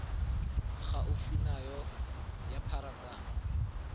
gaufi nao ya tsa pharakano